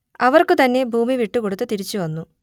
അവർക്കു തന്നെ ഭൂമി വിട്ടുകൊടുത്തു തിരിച്ചു വന്നു